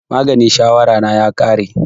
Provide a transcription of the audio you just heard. Maganin shawara na ya ƙare